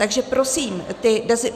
Takže prosím,